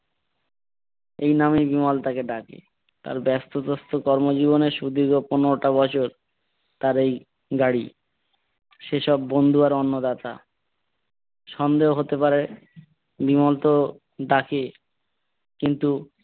তার ব্যাস্ত পোস্ত কর্ম জীবনে সুদীর্ঘ পনেরোটা বছর তার এই গাড়ি সে সব বন্ধু আর অন্নদাতা। সন্দেহ হতে পারে বিমল তো ডাকে কিন্তু,